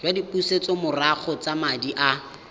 jwa dipusetsomorago tsa madi a